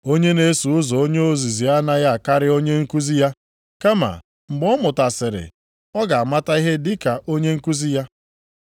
Onye na-eso ụzọ onye ozizi anaghị akarị onye nkuzi ya, kama mgbe ọ mụtasịrị ọ ga-amata ihe dị ka onye nkuzi ya.